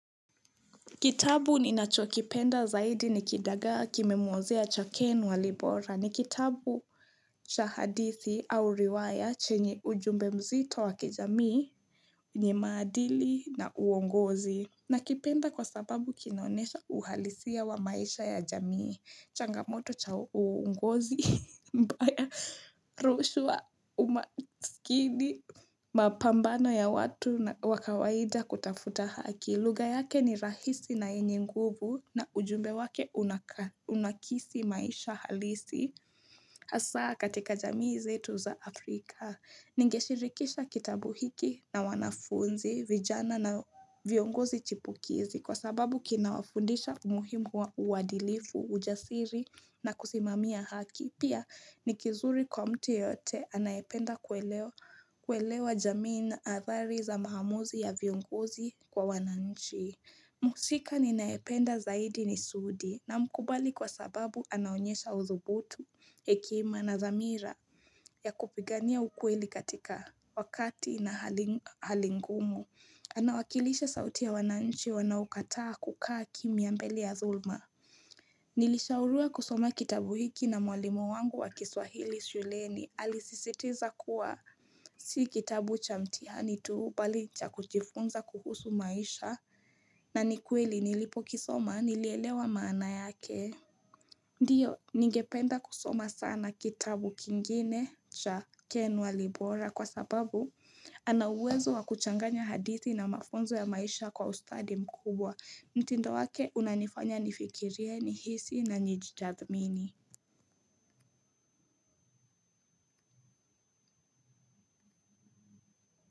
Kitabu ninacho kipenda zaidi ni kidagaa kimemuozea cha Ken Walibora. Ni kitabu cha hadithi au riwaya chenye ujumbe mzito wa kijamii yenye maadili na uongozi. Nakipenda kwa sababu kinaonyesha uhalisia wa maisha ya jamii, changamoto cha uongozi mbaya, rushwa, umaskini, mapambano ya watu wa kawaida kutafuta haki. Lugha yake ni rahisi na yenye nguvu na ujumbe wake unakisi maisha halisi hasa katika jamii zetu za Afrika. Ningeshirikisha kitabu hiki na wanafunzi, vijana na viongozi chipukizi kwa sababu kinawafundisha umuhimu wa uadilifu, ujasiri na kusimamia haki. Pia ni kizuri kwa mtu yote anaependa kuelewa jamii na athari za maamuzi ya viongozi kwa wananchi Muhusika ninayependa zaidi ni Sudi namkubali kwa sababu anaonyesha uthubutu hekima na thamira ya kupigania ukweli katika wakati na hali ngumu Anawakilisha sauti ya wananchi wanaokataa kukaa kimya mbeli ya thulma Nilishauriwa kusoma kitabu hiki na mwalimu wangu wa kiswahili shuleni, alisisitiza kuwa si kitabu cha mtihani tuu bali cha kujifunza kuhusu maisha na ni kweli nilipokisoma nilielewa maana yake Ndio, nigependa kusoma sana kitabu kingine cha Ken Walibora kwa sababu anauwezo wa kuchanganya hadithi na mafunzo ya maisha kwa ustadi mkubwa. Mtindo wake unanifanya nifikirie, nihisi na nijitathmini.